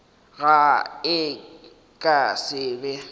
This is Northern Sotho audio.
ge e ka se be